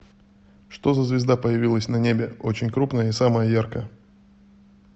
что за звезда появилась на небе очень крупная и самая яркая